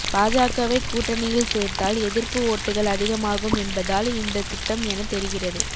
பாஜகவை கூட்டணியில் சேர்த்தால் எதிர்ப்பு ஓட்டுகள் அதிகமாகும் என்பதால் இந்த திட்டம் என தெரிகிறது